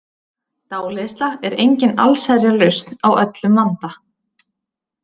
Dáleiðsla er engin allsherjarlausn á öllum vanda.